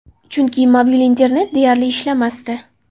Chunki mobil internet deyarli ishlamasdi.